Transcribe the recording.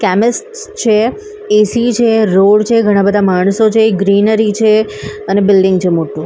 Chemist છે AC છે road છે ઘણાં-બધા માણસો છે ગ્રીનરી છે અને બિલ્ડીંગ છે મોટું.